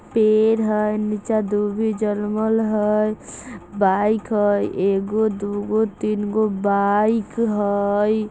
पेड़ हई नीचा दुभी जनमल हई | बाइक हई एगो दूगो तीन गो बाइक हई ।